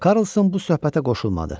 Karlson bu söhbətə qoşulmadı.